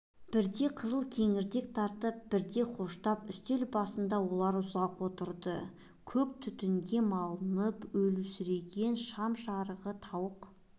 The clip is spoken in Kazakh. бірде қызыл кеңірдек таласып бірде хоштап үстел басында олар ұзақ отырды көк түтінге малтығып өлеусіреген шам жарығы тауық